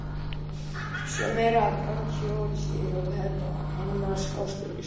Sjá meira um brandajól hér á vefsetri Almanaks Háskóla Íslands.